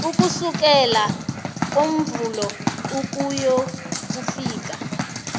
ukusukela ngomvulo ukuyokufika